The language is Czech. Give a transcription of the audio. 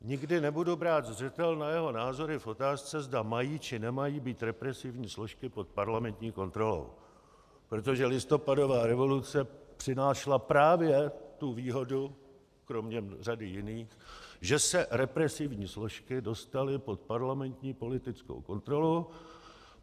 Nikdy nebudu brát zřetel na jeho názory v otázce, zda mají, či nemají být represivní složky pod parlamentní kontrolou, protože listopadová revoluce přinášela právě tu výhodu, kromě řady jiných, že se represivní složky dostaly pod parlamentní politickou kontrolu.